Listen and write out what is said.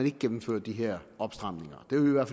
ikke gennemføre de her opstramninger